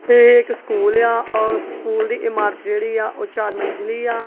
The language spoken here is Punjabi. ਇਹ ਇੱਕ ਸਕੂਲ ਆ ਸਕੂਲ ਦੀ ਇਮਾਰਤ ਜਿਹੜੀ ਆ ਉਹ ਚਾਰ ਮੰਜਲੀ ਆ।